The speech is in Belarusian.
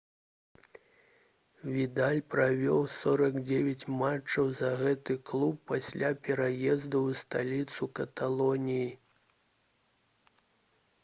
відал правёў 49 матчаў за гэты клуб пасля пераезду ў сталіцу каталоніі